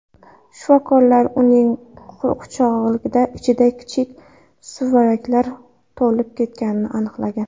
Shifokorlar uning qulog‘i ichida kichik suvaraklar to‘lib ketganini aniqlagan.